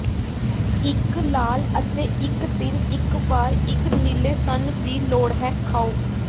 ਇੱਕ ਲਾਲ ਅਤੇ ਇੱਕ ਦਿਨ ਇੱਕ ਵਾਰ ਇੱਕ ਨੀਲੇ ਸਣ ਦੀ ਲੋੜ ਹੈ ਖਾਉ